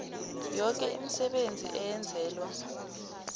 yoke imisebenzi eyenzelwa